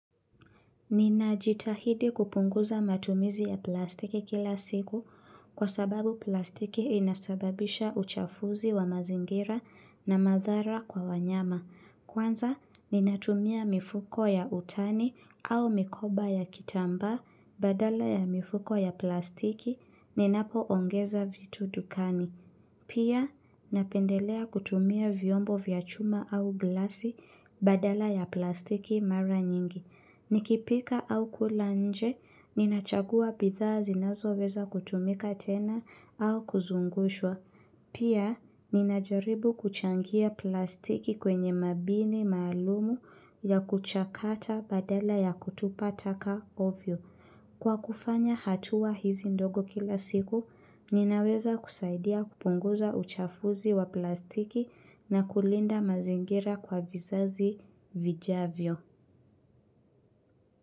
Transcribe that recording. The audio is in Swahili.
Ninajitahidi kupunguza matumizi ya plastiki kila siku kwa sababu plastiki inasababisha uchafuzi wa mazingira na madhara kwa wanyama. Kwanza, ninatumia mifuko ya utani au mikoba ya kitamba badala ya mifuko ya plastiki ninapoongeza vitu dukani. Pia, napendelea kutumia vyombo vya chuma au glasi badala ya plastiki mara nyingi. Nikipika au kula nje, ninachagua bidhaa zinazoweza kutumika tena au kuzungushwa. Pia, ninajaribu kuchangia plastiki kwenye mabini maalumu ya kuchakata badala ya kutupa taka ovyo. Kwa kufanya hatua hizi ndogo kila siku, ninaweza kusaidia kupunguza uchafuzi wa plastiki na kulinda mazingira kwa vizazi vijavyo.